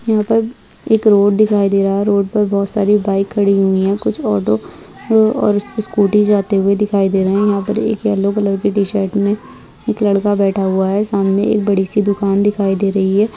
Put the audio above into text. यहाँ पर एक रोड दिखाई दे रहा है रोड पर बहुत सारी बाइक खड़ी हुई हैं कुछ ऑटो और कुछ स्कूटी जाते हुए दिखाई दे रहें है यहाँ पे येलो कलर के टीशर्ट में एक लड़का बैठा हुआ है सामने एक बड़ी सी दुकान दिखाई दे रही है।